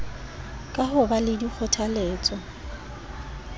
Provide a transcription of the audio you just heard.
ka ho ba le dikgothaletso